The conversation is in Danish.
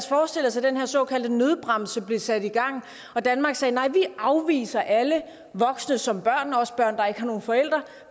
forestille os at den her såkaldte nødbremse blev sat i gang og at danmark sagde nej vi afviser alle voksne som børn også børn der ikke har nogen forældre